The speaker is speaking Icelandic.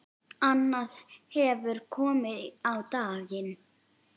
Annað hefur komið á daginn.